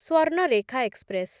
Swarnarekha express